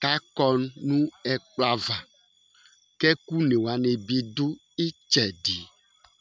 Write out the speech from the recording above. kʋ akɔ nʋ ɛkplɔ ava kʋ ɛkʋ ɔne wani bi du itsɛdi